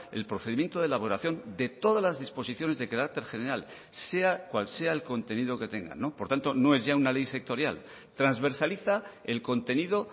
el procedimiento de elaboración de todas las disposiciones de carácter general sea cual sea el contenido que tengan por tanto no es ya una ley sectorial transversaliza el contenido